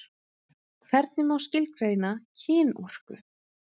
Hvernig má skilgreina kynorku?